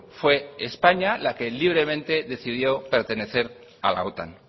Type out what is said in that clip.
fue españa la que libremente decidió pertenecer a la otan